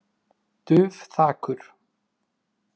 Dufþakur